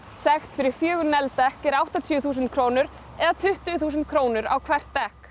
sekt fyrir fjögur negld dekk er áttatíu þúsund krónur eða tuttugu þúsund krónur á hvert dekk